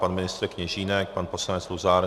Pan ministr Kněžínek, pan poslanec Luzar?